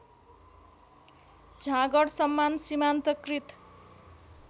झाँगड सम्मान सीमान्तकृत